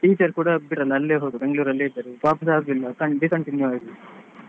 Teacher ಕೂಡ ಈಗ ಅಲ್ಲೇ Bangalore ಅಲ್ಲಿಯೇ ಇದ್ದಾರೆ ವಾಪಸ್ ಹೋಗಲಿಲ್ಲ discontinue ಆಯ್ತು.